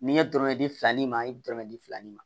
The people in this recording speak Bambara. N'i ye dɔrɔmɛ di fila ni ma e bɛ dɔrɔmɛ di fila ni ma